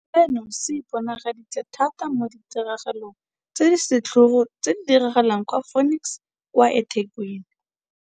Seno se iponagaditse thata mo ditiragalong tse di setlhogo tse di diragetseng kwa Phoenix kwa eThekwini.